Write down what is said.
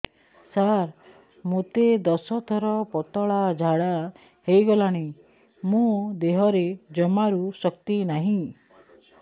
ସାର ମୋତେ ଦଶ ଥର ପତଳା ଝାଡା ହେଇଗଲାଣି ମୋ ଦେହରେ ଜମାରୁ ଶକ୍ତି ନାହିଁ